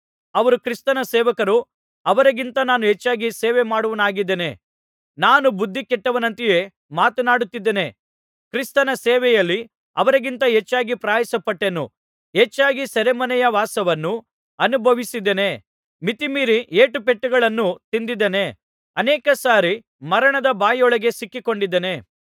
ಅವರು ಕ್ರಿಸ್ತನ ಸೇವಕರೋ ಅವರಿಗಿಂತ ನಾನು ಹೆಚ್ಚಾಗಿ ಸೇವೆಮಾಡುವವನಾಗಿದ್ದೇನೆ ನಾನು ಬುದ್ಧಿ ಕೆಟ್ಟವನಂತೆಯೇ ಮಾತನಾಡುತ್ತಿದ್ದೇನೆ ಕ್ರಿಸ್ತನ ಸೇವೆಯಲ್ಲಿ ಅವರಿಗಿಂತ ಹೆಚ್ಚಾಗಿ ಪ್ರಯಾಸಪಟ್ಟೆನು ಹೆಚ್ಚಾಗಿ ಸೆರೆಮನೆಯ ವಾಸವನ್ನು ಅನುಭವಿಸಿದ್ದೇನೆ ಮಿತಿಮೀರಿ ಏಟುಪೆಟ್ಟುಗಳನ್ನು ತಿಂದಿದ್ದೇನೆ ಅನೇಕ ಸಾರಿ ಮರಣದ ಬಾಯೊಳಗೆ ಸಿಕ್ಕಿಕೊಂಡಿದ್ದೇನೆ